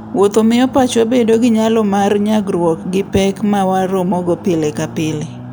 Wuotho miyo pachwa bedo gi nyalo mar nyagruok gi pek ma waromogo pile ka pile.